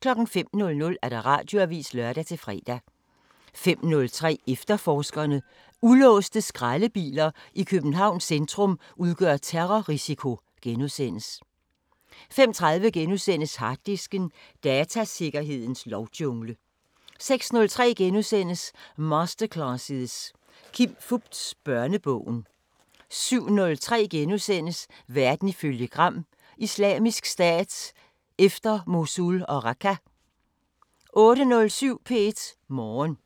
05:00: Radioavisen (lør-fre) 05:03: Efterforskerne: Ulåste skraldebiler i Københavns centrum udgør terrorrisiko * 05:30: Harddisken: Datasikkerhedens lovjungle * 06:03: Masterclasses – Kim Fupz: Børnebogen * 07:03: Verden ifølge Gram: Islamisk Stat efter Mosul og Raqqa * 08:07: P1 Morgen